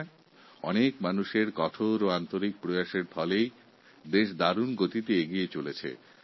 সকল মানুষের সম্মিলিত প্রয়াসের ফলস্বরূপ আমাদের দেশ দ্রুত গতিতে এগিয়ে চলছে